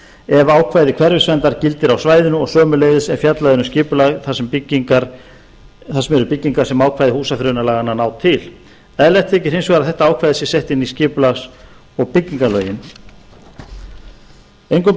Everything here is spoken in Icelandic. ef ákvæði hverfisverndar gildir á svæðinu og sömuleiðis ef fjallað er um skipulag þar sem eru byggingar sem ákvæði húsafriðunarlaganna ná til eðlilegt þykir hins vegar að þetta ákvæði sé sett inn í skipulags og byggingarlög engum